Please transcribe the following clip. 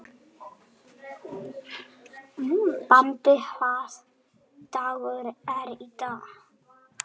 Bambi, hvaða dagur er í dag?